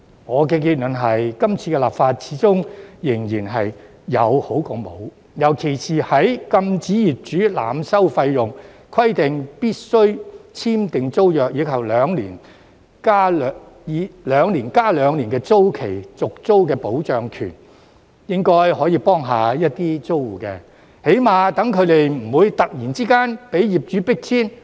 我的結論是，今次的立法始終是有總較沒有的好，尤其是包括禁止業主濫收費用、規定必須簽訂租約，以及"兩年加兩年"的租住權保障，應該可以幫助到一些租戶，起碼他們不會突然被業主迫遷。